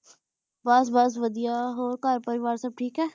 ਬਸ ਬਸ ਵਾਦੇਯਾ ਹੋਰ ਘਰ ਪਰਿਵਾਰ ਅਲੀ ਥੇਕ ਆ ਸਾਰੀ